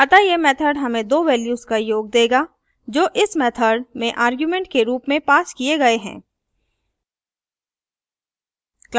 अतः यह method हमें दो values का योग देगा जो इस method में arguments के रूप में पास किए गए हैं